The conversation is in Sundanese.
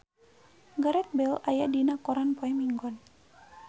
Gareth Bale aya dina koran poe Minggon